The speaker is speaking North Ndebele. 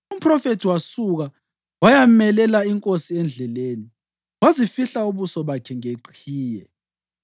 Umphrofethi wasuka wayamelela inkosi endleleni. Wazifihla ubuso bakhe ngeqhiye.